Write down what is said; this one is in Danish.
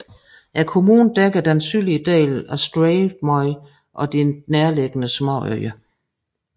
Kommunen dækker den sydlige del af Streymoy og de nærliggende småøer